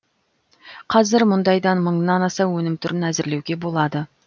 қазір мұндайдан мыңнан аса өнім түрін әзірлеуге болады